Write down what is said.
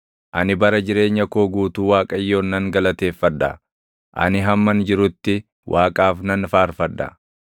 Ani bara jireenya koo guutuu Waaqayyoon nan galateeffadha; ani hamman jirutti Waaqaaf nan faarfadha.